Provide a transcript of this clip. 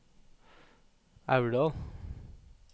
Aurdal